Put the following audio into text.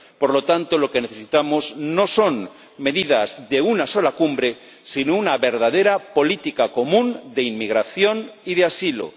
Por lo tanto, lo que necesitamos no son medidas de una sola cumbre, sino una verdadera política común de inmigración y de asilo.